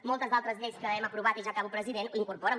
moltes altres lleis que hem aprovat i ja acabo president ho incorporen